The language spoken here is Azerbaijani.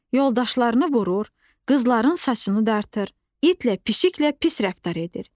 Yoldaşlarını vurur, qızların saçını dartır, itlə pişiklə pis rəftar edir.